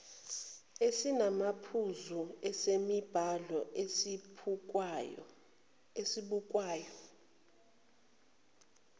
esinamaphuzu esemibhalo esibukwayo